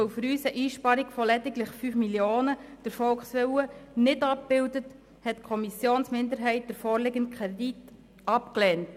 Weil für uns eine Einsparung von lediglich 5 Mio. Franken den Volkswillen nicht abbildet, hat die Kommissionsminderheit den vorliegenden Kredit abgelehnt.